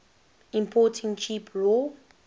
importing cheap raw